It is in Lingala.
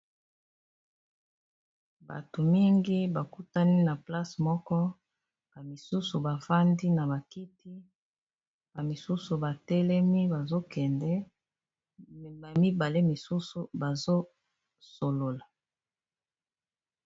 Bato mingi ba kutani na place moko ba misusu bafandi na bakiti, misusu batelemi bazokende ba mibali misusu bazo solola.